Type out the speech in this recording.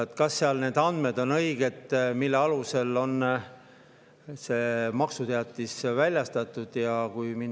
Kas need andmed, mille alusel on maksuteatis väljastatud, on õiged?